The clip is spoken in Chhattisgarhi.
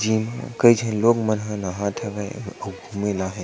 जे कई झन लोग मन ह नहात हवे अउ घूमे ल आ हे।